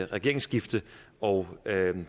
regeringsskifte og